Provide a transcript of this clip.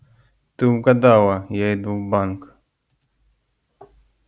ты угадала я иду в банк